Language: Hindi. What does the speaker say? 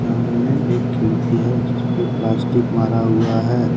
सामने एक खिड़की है जिसपे प्लास्टिक मारा हुआ है।